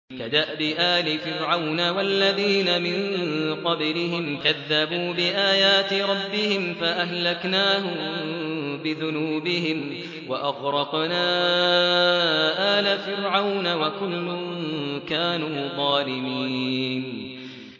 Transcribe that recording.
كَدَأْبِ آلِ فِرْعَوْنَ ۙ وَالَّذِينَ مِن قَبْلِهِمْ ۚ كَذَّبُوا بِآيَاتِ رَبِّهِمْ فَأَهْلَكْنَاهُم بِذُنُوبِهِمْ وَأَغْرَقْنَا آلَ فِرْعَوْنَ ۚ وَكُلٌّ كَانُوا ظَالِمِينَ